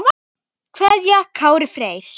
kveðja Kári Freyr.